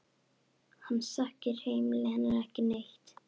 Hann þekkir heimili hennar ekki neitt.